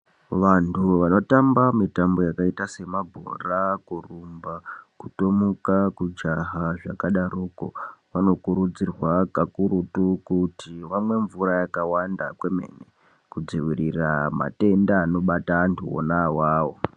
Vantu vanotamba mitambo yakaita semabhora kurumba kutomuka kujaha zvakadaroko vanokurudzirwa kakurutu kuti vamwe mvura yakawanda kwemene kudziirira matenda anobata antu ona awawo .